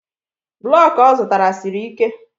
blọk ọ zụtara siri ike